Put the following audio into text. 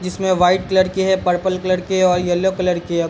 जिसमे white colour की है। पर्पल कलर की है और येल्लो कलर की है।